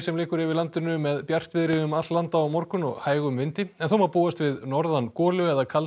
liggur yfir landinu með bjartviðri um allt land á morgun og hægum vindi en þó má búast við norðan golu eða kalda